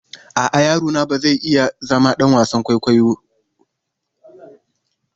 A'a, yaro na ba zai iya zama ɗan wasan kwaikwayo na.